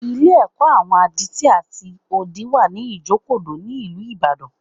Ilé-ẹ̀kọ́ àwọn adití àti odi wà ní Ìjokòdó, ní ìlú Ìbàdàn